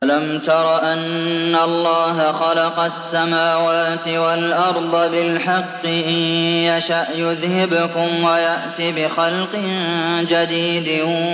أَلَمْ تَرَ أَنَّ اللَّهَ خَلَقَ السَّمَاوَاتِ وَالْأَرْضَ بِالْحَقِّ ۚ إِن يَشَأْ يُذْهِبْكُمْ وَيَأْتِ بِخَلْقٍ جَدِيدٍ